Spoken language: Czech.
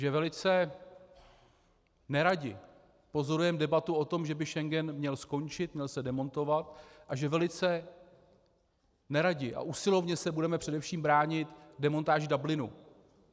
Že velice neradi pozorujeme debatu o tom, že by Schengen měl skončit, měl se demontovat, a že velice neradi a usilovně se budeme především bránit demontáži Dublinu.